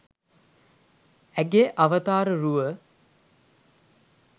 ඇගේ අවතාර රුව